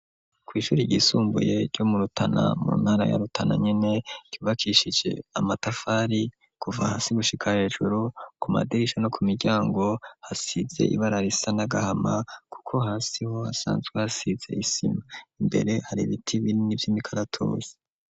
Kw' ishuri ry' isumbuye ryo mu rutana mu ntara ya rutana nyene rubakishije amatafari kuva hasi gushika hejuru ku madirisha no ku miryango hasize ibararisa n'agahama kuko hasiho asanzwe hasize isima imbere hari ibiti binini vy' imikaratosi.